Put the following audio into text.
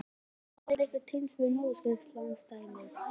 En á hann einhver tengsl við Norðausturkjördæmi?